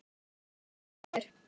Ást og friður.